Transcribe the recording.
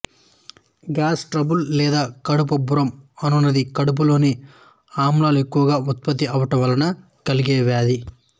gas trouble లేదా కడుపు ఉబ్బరం అనునది కడుపులోని ఆమ్లాలు ఎక్కువగా ఉత్పత్తి అవడం వలన కలిగే వ్యాధి